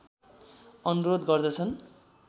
अनुरोध गर्दछन्